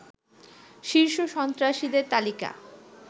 শীর্ষ সন্ত্রাসীদের তালিকা